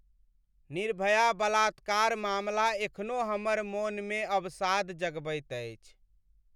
निर्भया बलात्कार मामला एखनो हमर मोनमे अवसाद जगबैत अछि।